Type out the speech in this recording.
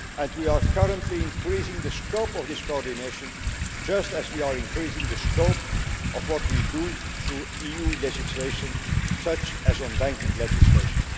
We are currently increasing the scope of this coordination just as we are increasing the scope of what we do through EU legislation, such as the banking legislation.